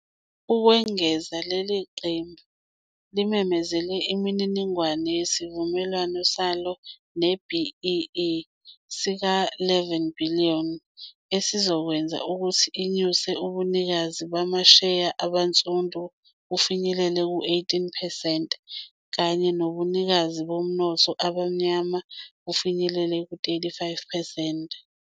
Ukwengeza, leli qembu limemezele imininingwane yesivumelwano salo se-BEE sika-R11 billion, esizokwenza ukuthi inyuse ubunikazi bamasheya abansundu bufinyelele ku-18 percent kanye nobunikazi bomnotho abamnyama bufinyelele ku-35 percent.